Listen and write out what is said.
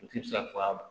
U ti se ka fɔ ka ban